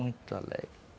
Muito alegre.